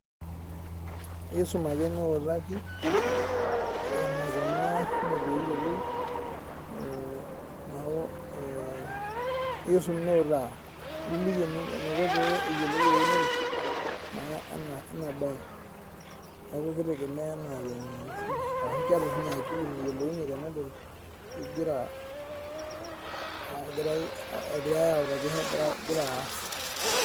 esume ake niwutaki enaikunaa pee eyiolou neeku esum niwutaa nilikii enaiko pee eyiolou ewunore naa ena mbae neeku ekitegemea enaa fenye nikifundishaki amu keeta oshi ninye akili nayiolounye tenedol egirai awutaki egira aas